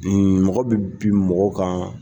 Mɔgɔ bɛ bi mɔgɔw kan .